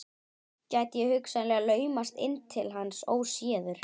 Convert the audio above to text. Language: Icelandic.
Gæti ég hugsanlega laumast inn til hans óséður?